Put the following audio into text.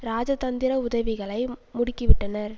இராஜதந்திர உதவிகளை முடுக்கிவிட்டனர்